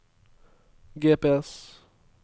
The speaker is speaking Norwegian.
GPS